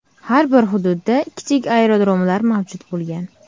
Har bir hududda kichik aerodromlar mavjud bo‘lgan.